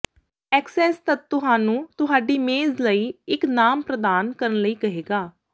access ਤਦ ਤੁਹਾਨੂੰ ਤੁਹਾਡੀ ਮੇਜ਼ ਲਈ ਇੱਕ ਨਾਮ ਪ੍ਰਦਾਨ ਕਰਨ ਲਈ ਕਹੇਗਾ